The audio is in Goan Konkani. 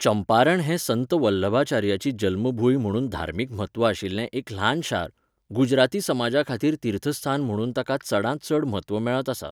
चंपारण हें संत वल्लभाचार्याची जल्मभूंय म्हणून धर्मीक म्हत्व आशिल्लें एक ल्हान शार, गुजराती समाजाखातीर तीर्थस्थान म्हणून ताका चडांत चड म्हत्व मेळत आसा.